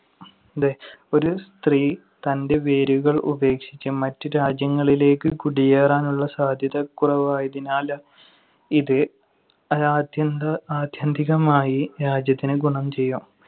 ഒരു സ്ത്രീ തന്‍റെ വേരുകൾ ഉപേക്ഷിച്ച് മറ്റ് രാജ്യങ്ങളിലേക്ക് കുടിയേറാനുള്ള സാധ്യത കുറവായതിനാല്‍ ഇത് ആത്യന്ത~ ആത്യന്തികമായി രാജ്യത്തിന് ഗുണം ചെയ്യും.